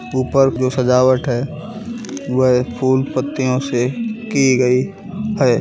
ऊपर जो सजावट है वह फूल पत्तियों से की गई है।